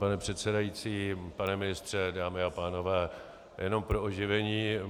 Pane předsedající, pane ministře, dámy a pánové, jen pro oživení.